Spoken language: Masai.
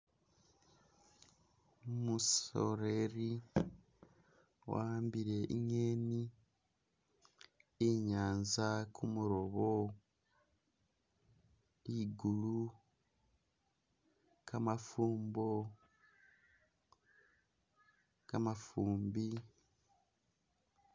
Umusoreri wahambile i'ngeeni, i i'nyanza, kumurobo, ligulu, kamafumbo, kamafumbi.